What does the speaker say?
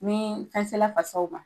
Nin fɛn sela fasaw ma